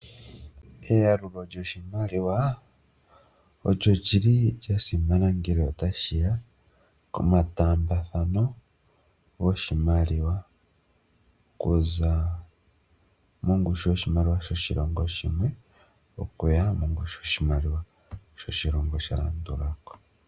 Eyalulo lyoshimaliwa olyo lyi li lyasimana ngele tashiya komataambathano goshimaliwa okuza mongushu yoshimaliwa shoshilongo shimwe okuya mongushu yoshimaliwa sho shilongo sha landula ko.